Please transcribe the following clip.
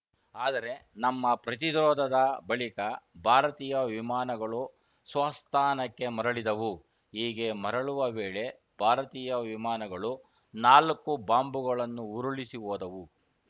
ಆದರೆ ನಮ್ಮ ಪ್ರತಿರೋಧದ ಬಳಿಕ ಭಾರತೀಯ ವಿಮಾನಗಳು ಸ್ವಸ್ಥಾನಕ್ಕೆ ಮರಳಿದವು ಹೀಗೆ ಮರಳುವ ವೇಳೆ ಭಾರತೀಯ ವಿಮಾನಗಳು ನಾಲ್ಕು ಬಾಂಬ್‌ಗಳನ್ನು ಉರುಳಿಸಿ ಹೋದವು